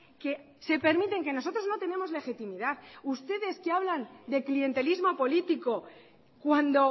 que se permiten que nosotros no tenemos legitimidad ustedes que hablan de clientelismo político cuando